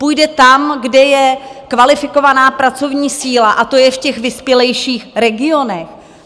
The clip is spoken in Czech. Půjde tam, kde je kvalifikovaná pracovní síla, a to je v těch vyspělejších regionech.